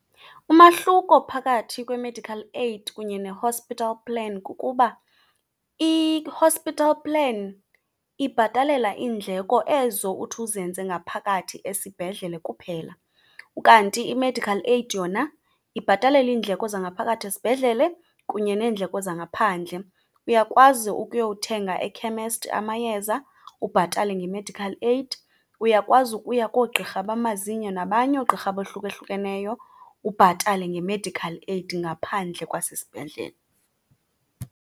Umahluko phakathi kwe-medical aid kunye ne-hospital plan kukuba i-hospital plan ibhatalela iindleko ezo uthi uzenze ngaphakathi esibhedlele kuphela, kanti i-medical aid yona ibhatalela iindleko zangaphakathi esibhedlele kunye neendleko zangaphandle. Uyakwazi ukuyothenga ekhemesti amayeza ubhatale nge-medical aid, uyakwazi ukuya koogqirha bamazinyo nabanye oogqirha abohlukahlukeneyo ubhatale nge-medical aid ngaphandle kwasesibhedlele.